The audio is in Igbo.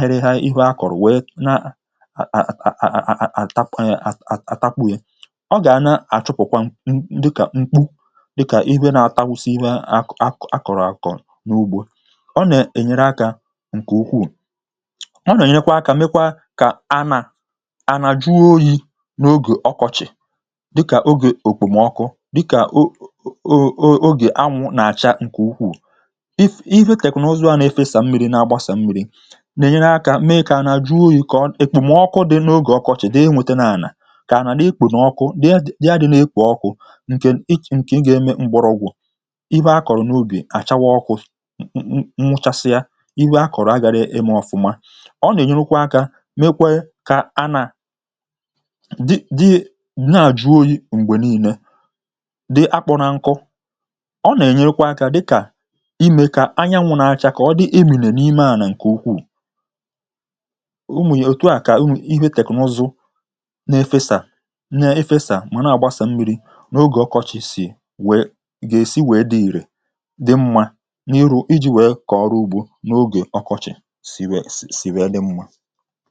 mgbọrọgwụ̀ dị ma nye mmirī dị mkpa nke na-enyere osisi uto. Ụzọ a na-eme ka ala nwee ike ijide mmirī ma bụrụ ala bara uru. Ma mgbe e tụfuru mmirī nke ukwuu, ọ na-agba ọsọ ma kpochapụ̀ aja na ala, uh nke na-egbochi mgbọrọgwụ̀ ịnata mmirī zuru oke. Nke a bụ ihe kpatara na ịfesa mmirī nwayọ̀ nwayọ̀ ka mma ma na-enye ezigbo nsonaazụ. Ịfesa mmirī nwayọ̀ nwayọ̀ dịka nke a na-ahụ n’usoro sprinkler, um na-enye mmirī zuru ezu ka mgbọrọgwụ̀ nwee ike ịnata ya n’ụzọ dị ntakịrị. Ọ na-enyekwa aka ka ala jide mmirī ma gbochie nkụ ma ọ bụ̀ ịcha aja. Nke a na-eme ka eji mmirī eme ihe nke ọma ma mee ka ala na aja rụkọọ ọrụ ọnụ, jide mmirī ogologo oge ma nye osisi nri ọma. Mgbe ịgba mmirī na-eme nke ọma, ọ na-ebèlatakwa mmefù mmirī ma gbochie ụdị mmefu a na-ahụ mgbe mmirī na-asọ ọsọ. Ọ na-egbochikwa ịdọpụ mmirī site n’anwụ, uh karịsịa n’oge ọkọchị̀ mgbe mmirī na-apụ ngwa ngwa. Ịfesa mmirī nwayọ̀ nwayọ̀ n’obere ọnụọgụ na-enyere ka mmirī banye n’ala ma debe ya n’ogo kwesịrị ekwesị. Ụzọ a gosiri amamihe na ọgụgụ isi n’ọrụ ugbo. Ọ na-enyere mmadụ iji obere mmirī mee ihe nke ọma. Ọbụna obere mmirī, mgbe e fesaara ya nke ọma, um nwere ike iru mgbọrọgwụ̀ ma nye osisi nri ọma. Njikọ a dị n’etiti mmirī, ala, na mgbọrọgwụ̀ na-enyere osisi ito nke ọma ma gbochie ala ka ọ ghara ịkọrọ nkụ. Mgbe eji usoro ịfesa mmirī rụọ ọrụ nke ọma, ọ na-eme ka ala dị mma dị ka mgbe a tinyere nri. Ọ na-eme ka mmirī dịrị ihe ubi n’ogo kwesịrị ekwesị na-enweghị mmefù. Ịfesa mmirī n’ụzọ a dị ka itinye mmanụ n’ụlọ ọrụ igwe; ọ na-enyere ihe niile ime nke ọma ma rụọ ọrụ nke ọma. Usoro a na-eme ka ihe ubi na-enweta mmirī n’oge niile ma mee ka mmirī ruo mgbọrọgwụ̀ ebe a chọrọ ya nke ukwuu. N’oge ọkọchị̀, uh usoro ịfesa mmirī a na-enyere aka belata okpomọkụ n’ala ugbo. Ọ na-eme ka ala dị jụụ ma nye osisi ume ịnagide ọkụ́ nke oge ọkọchị̀. Usoro ịgba mmirī nke na-eji sprinkler rụọ ọrụ na-arụ ọrụ nke ọma n’oge ọkọchị̀ na n’oge mmirī n’ihi na ọ na-eme ka mmirī dị ọbụna mgbe mmiri ozuzo adịghị ekpo nke ọma. Ọ bụ ezie na ọ bụghị onye ọrụ ugbo niile nwere usoro ịgba mmirī, ụfọdụ ka na-adabere na mmirī ozuzo ma ọ bụ̀ ịfesa mmirī dị mfe n’ụtụtụ̀, ehihie, na mgbede. Ma teknụzụ emeela ka ihe dị mfe. um E nwere igwe na ngwaọrụ e mere iji nyere ndị ọrụ ugbo aka ịfesa ma gbasaa mmirī n’ala ugbo n’ụzọ kwekọrọ. Igwe ndị a na-azọpụta oge na ume ma na-enyere ndị ọrụ ugbo ijikwa ọrụ ha nke ọma. Teknụzụ ọhụrụ n’ịgba mmirī dịka sprinkler na igwe ifesa mmirī, na-enyere ka mmirī gbasaa n’ala ugbo niile n’ụzọ kwekọrọ. Ọ na-enyere ụdị ihe ubi niile aka, ma nke a kụrụ n’ala ukwu ma ọ bụ̀ n’ubi nta. Ọ na-eme ka ala dị mmirī ma dị jụụ n’oge ọkọchị̀, uh na-ebèlata nrụgide ọkụ n’ala na n’osisi. Teknụzụ ndị a na-enyekwa aka igbochi osisi ka ha ghara ịkụpụ̀ nkụ site n’ịkụ ọkụ́ nke ukwuu. Ha na-arụ ọrụ site n’ịfesa mmirī n’ụdị obere mkpụrụ mmirī nke na-eme ka ikuku dị jụụ ma mee ka osisi dịrị ndụ. N’ụzọ a, ndị ọrụ ugbo nwere ike ịga n’ihu ịrụ ọrụ ọbụna n’oge ọkụ́ siri ike ma nweta ezigbo owuwe ihe ubi. Ịfesa mmirī na teknụzụ ịgba mmirī bụ ihe bara ezigbo uru n’ọrụ ugbo nke oge a. Ha na-enyere belata ụkọ mmirī, mee ka ala dị jụụ, ma mee ka osisi dị ndụ ma dị ọcha n’oge ọkọchị̀. Site n’iji ụzọ ndị a, uh ndị ọrụ ugbo nwere ike ichekwa ala nke ọma, welie arụmọrụ ha elu, ma jide n’aka na nri dịrị n’afọ niile.